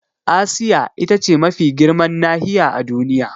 Asiya ita ce mafi girman nahiya a Duniya.